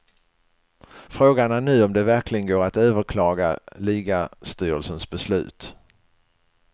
Frågan är nu om det verkligen går att överklaga ligastyrelsens beslut.